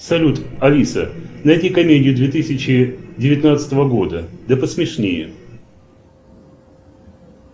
салют алиса найди комедию две тысячи девятнадцатого года да посмешнее